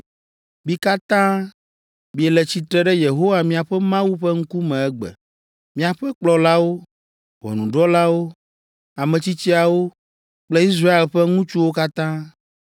Mi katã, miele tsitre ɖe Yehowa miaƒe Mawu ƒe ŋkume egbe. Miaƒe kplɔlawo, ʋɔnudrɔ̃lawo, ametsitsiawo kple Israel ƒe ŋutsuwo katã,